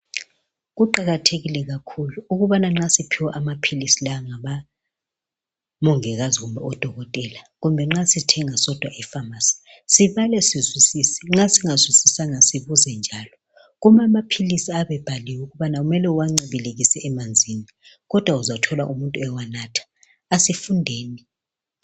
Kuqakathekile kakhulu ukubana nxa siphiwa amaphilisi lawa ngabomongikazi kumbe odokotela, kumbe nxa sithenga sodwa efamasi sibale sizwisise nxa singazwisisanga sibuze njalo. Kulamaphilisi ayabe ebhaliwe ukubana kumele uwancibilikise emanzini kodwa uzathola umuntu ewanatha, asifundeni.